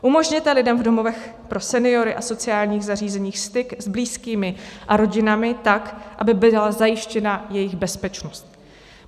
Umožněte lidem v domovech pro seniory a sociálních zařízeních styk s blízkými a rodinami tak, aby byla zajištěna jejich bezpečnost.